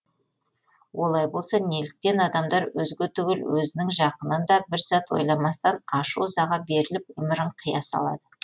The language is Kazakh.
олай болса неліктен адамдар өзге түгіл өзінің жақынын да бір сәт ойламастан ашу ызаға беріліп өмірін қия салады